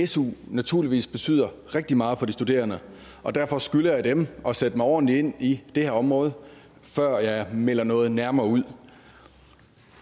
su naturligvis betyder rigtig meget for de studerende og derfor skylder jeg dem at sætte mig ordentlig ind i det her område før jeg melder noget nærmere ud